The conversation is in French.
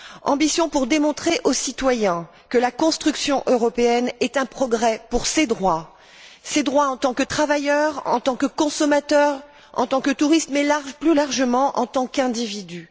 ambition pour démontrer au citoyen que la construction européenne est un progrès pour ses droits, ses droits en tant que travailleur, en tant que consommateur, en tant que touriste, mais plus largement en tant qu'individu.